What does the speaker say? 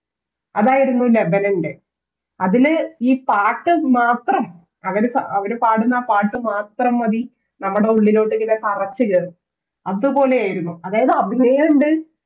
അതായിരുന്നു ലതനൻറ് അതില് ഈ പാട്ട് മാത്രം അവര് പാ പാടുന്ന ആ പാട്ട് മാത്രം മതി നമ്മടെയുള്ളിലോട്ട് ഇങ്ങനെ തറച്ച് കേറും അതുപോലെയായിരുന്നു അതായത് അഭിനയണ്ട്